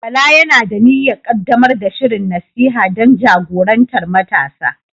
Bala yana da niyyar ƙaddamar da shirin nasiha don jagorantar matasa.